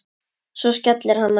Svo skellti hann á.